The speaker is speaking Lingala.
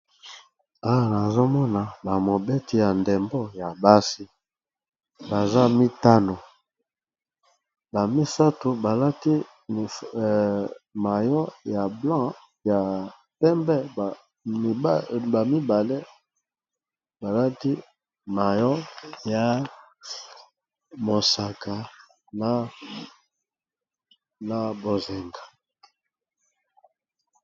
Awa nazomona ba mobeti ya ndembo ya basi baza mitano, ba misato balati mallot ya blanc ya pembe ba mibale balati mallot ya mosaka na bozinga.